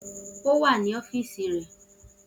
O wa ni ọfiisi rẹ